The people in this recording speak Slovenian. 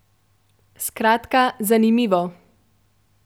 Skratka, zanimivo.